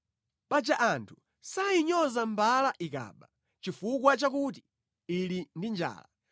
Paja anthu sayinyoza mbala ikaba chifukwa chakuti ili ndi njala.